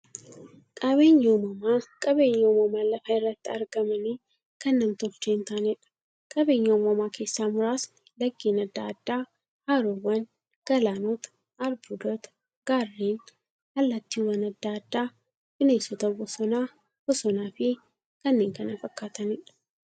Qaabeenyi uumamaa qabeenya uumamaan lafa irratti argamanii, kan nam-tolchee hintaaneedha. Qabeenya uumamaa keessaa muraasni; laggeen adda addaa, haroowwan, galaanota, albuudota, gaarreen, allattiiwwan adda addaa, bineensota bosonaa, bosonafi kanneen kana fakkataniidha.